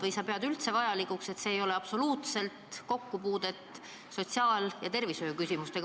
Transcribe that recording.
Või sa ei pea seda üldse vajalikuks, sest sinu arvates sel nagu ei ole absoluutselt kokkupuudet sotsiaal- ja tervishoiuküsimustega?